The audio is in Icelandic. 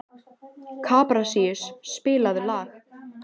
Kaprasíus, spilaðu lag.